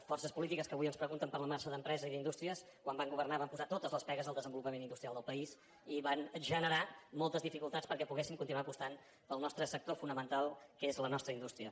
forces polítiques que avui ens pregunten per la marxa d’empreses i d’indústries quan van governar van posar totes les pegues al desenvolupament industrial del país i van generar moltes dificultats perquè poguéssim continuar apostant pel nostre sector fonamental que és la nostra indústria